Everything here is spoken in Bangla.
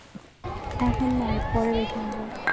এখন নয় পরে দেখে নেব.